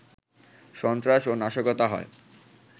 সন্ত্রাস ও নাশকতা হয়